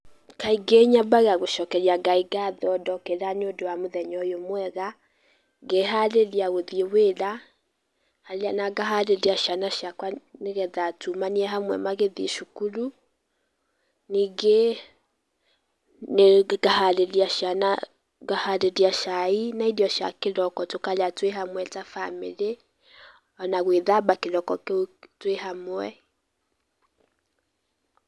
Kaingĩ nyambaga gũcokeria Ngai ngatho ndokĩra nĩ ũndũ wa mũthenya ũyũ mwega, ngeharĩria gũthiĩ wĩra, na ngaharĩria ciana ciakwa nĩgetha tumanie hamwe magĩthiĩ cukuru, ningĩ, ngaharĩria cai na irio cia kĩroko tũkarĩa twĩhamwe ta bamĩrĩ, ona gwĩthamba kĩroko kĩu twĩhamwe.